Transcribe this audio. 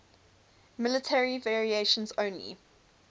military variants only